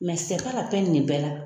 nin bɛɛ la.